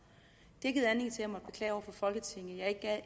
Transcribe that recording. folketinget at